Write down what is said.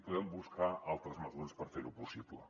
podem buscar altres mesures per fer ho possible